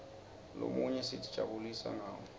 lomunye sitijabulisa ngawo